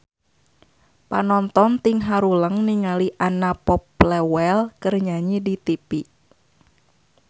Panonton ting haruleng ningali Anna Popplewell keur nyanyi di tipi